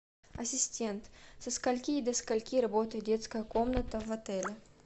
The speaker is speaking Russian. ассистент со скольки и до скольки работает детская комната в отеле